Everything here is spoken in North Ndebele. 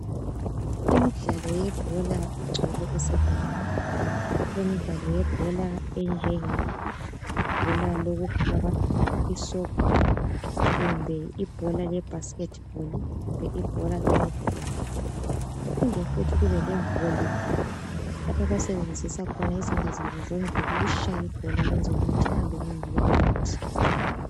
Imidlalo yebhola igcwele esecondary lemidlalo yebhola enjenge bhola elokukhaba isoccer kumbe ibhola le basket ball kumbe netball kuphinde futhi kube le volleyball lapho abasebenzisa khona izandla zabo zombili ukutshaya ibhola ukwenzela ukuthi lihambe ngangale kwenet.